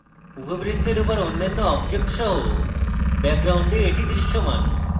উপবৃত্তের উপর অন্যান্য objects সহ background the দৃশ্যমান